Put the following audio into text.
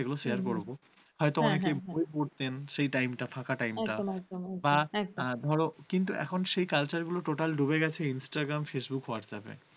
কিন্তু এখন সেই culture গুলি টোটাল ঢুকে গেছে। instagramfacebook, whatsapp ।